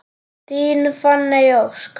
Þín Fanney Ósk.